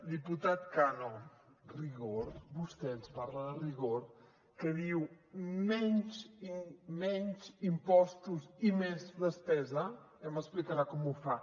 diputat cano rigor vostè ens parla de rigor que diu menys impostos i més despesa ja m’explicarà com ho fa